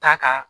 Ta ka